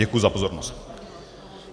Děkuji za pozornost.